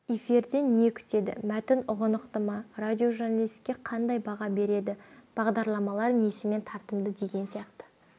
эфирден не күтеді мәтін ұғынықты ма радиожурналистке қандай баға береді бағдарламалар несімен тартымды деген сияқты